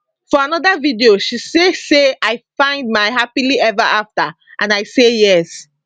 for anoda video she say say i find my happily eva afta and i say yes